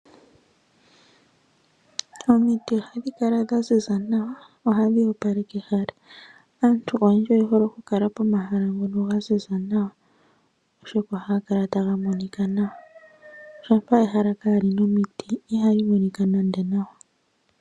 Omiti ohadhi kala dhaziza nawa , ohadhi opaleke ehala, aantu oyendji oye hole okukala pomahala ngono gaziza nawa oshoka ohaga kala taga monika nawa. Shampa ehala kaalina omiti ihali monikwa nande nawa.